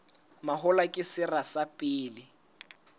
mahola ke sera sa pele